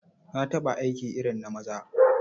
Na taɓa aiki irin na maza.